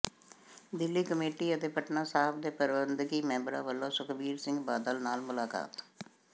Delhi committee ਅਤੇ ਪਟਨਾ ਸਾਹਿਬ ਦੇ ਪ੍ਰਬੰਧਕੀ ਮੈਂਬਰਾਂ ਵੱਲੋਂ ਸੁਖਬੀਰ ਸਿੰਘ ਬਾਦਲ ਨਾਲ ਮੁਲਾਕਾਤ